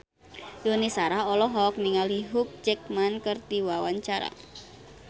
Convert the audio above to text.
Yuni Shara olohok ningali Hugh Jackman keur diwawancara